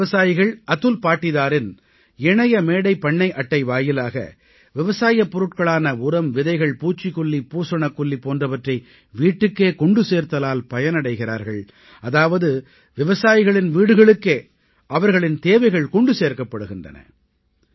இந்த விவசாயிகள் அதுல் பாடீதாரின் இணையமேடைபண்ணைஅட்டை வாயிலாக விவசாயப் பொருட்களான உரம் விதைகள் பூச்சிகொல்லி பூசணக்கொல்லி போன்றவற்றை வீட்டுக்கே கொண்டு சேர்த்தலால் பயனடைகிறார்கள் அதாவது விவசாயிகளின் வீடுகளுக்கே அவர்களின் தேவைகள் கொண்டு சேர்க்கப்படுகின்றன